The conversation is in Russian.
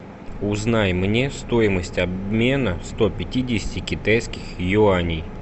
узнай мне стоимость обмена ста пятидесяти китайских юаней